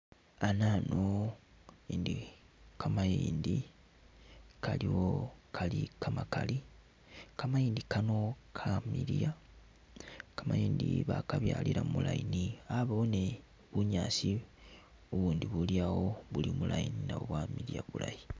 Anano iliwo ili kamayindi kamakali, kamayindi kano kamiliya, kamayindi kano bakabyalila mu line, yabawo ni bunyaasi bubundi buli mu line nabwo buli awo nabwo bwamiliya bulaayi.